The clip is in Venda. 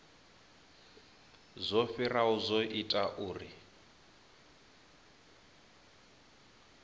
zwo fhiraho zwo ita uri